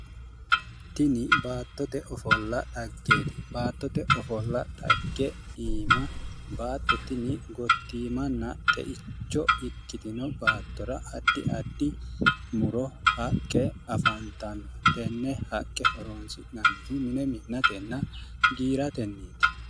Tini baattote ofolla xaggeeti, baattote ofolla xagge iima baatto tini gottiimanna xeicho ikkitino baattora addi muro haqqe afantanno. Tenne haqqe horoonsi'nannihu mine mi'natenna giiratenniiti.